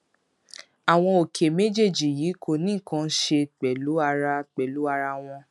àwọn òkè méjèèjì yìí kò ní nǹkan kan ṣe pẹlú ara pẹlú ara wọn